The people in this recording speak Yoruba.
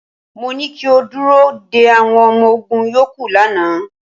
Mo ní kí o dúró de àwọn ọmọ ogún yòókù lánàá.